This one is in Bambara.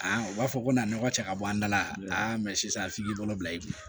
u b'a fɔ ko na nɔgɔ cɛ ka bɔ an da la sisan f'i k'i bolo bila i kun